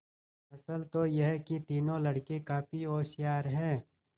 असल तो यह कि तीनों लड़के काफी होशियार हैं